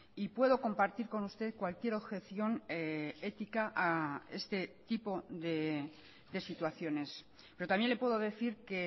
y puedo compartir con usted cualquier objeción ética a este tipo de situaciones pero también le puedo decir que